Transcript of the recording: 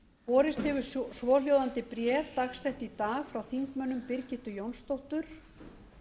borist hefur svohljóðandi bréf dagsett í dag frá þingmönnunum birgittu jónsdóttur